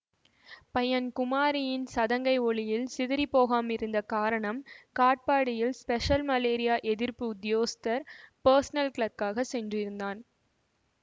பையன் குமாரியின் சதங்கை ஒலியில் சிதறிப் போகாமிருந்த காரணம் காட்பாடியில் ஸ்பெஷல் மலேரியா எதிர்ப்பு உத்யோகஸ்தர் பர்ஸனல் கிளர்க்காகச் சென்றதுதான்